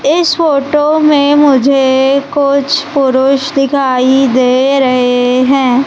इस फोटो में मुझे कुछ पुरुष दिखाई दे रहे हैं।